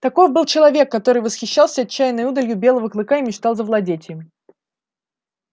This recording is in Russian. таков был человек который восхищался отчаянной удалью белого клыка и мечтал завладеть им